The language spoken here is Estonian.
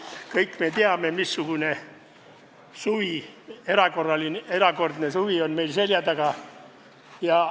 Kõik me teame, missugune erakordne suvi on meil seljataga.